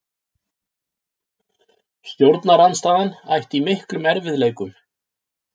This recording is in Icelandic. Stjórnarandstaðan ætti í miklum erfiðleikum